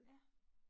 Ja